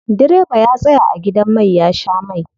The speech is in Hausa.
Direba ya tsaya a gidan mai ya sha mai.